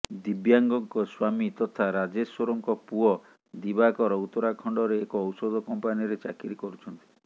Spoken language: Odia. ଦିବ୍ୟାଙ୍କ ସ୍ବାମୀ ତଥା ରାଜେଶ୍ବରଙ୍କ ପୁଅ ଦିବାକର ଉତ୍ତରାଖଣ୍ଡରେ ଏକ ଔଷଧ କମ୍ପାନୀରେ ଚାକିରି କରୁଛନ୍ତି